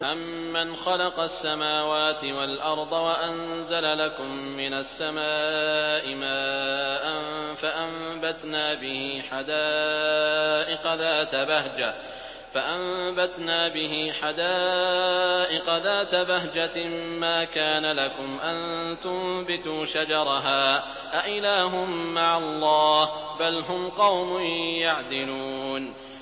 أَمَّنْ خَلَقَ السَّمَاوَاتِ وَالْأَرْضَ وَأَنزَلَ لَكُم مِّنَ السَّمَاءِ مَاءً فَأَنبَتْنَا بِهِ حَدَائِقَ ذَاتَ بَهْجَةٍ مَّا كَانَ لَكُمْ أَن تُنبِتُوا شَجَرَهَا ۗ أَإِلَٰهٌ مَّعَ اللَّهِ ۚ بَلْ هُمْ قَوْمٌ يَعْدِلُونَ